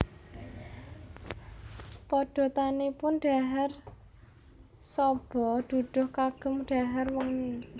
Padatanipun dhahar soba duduh kagem dhahar wengi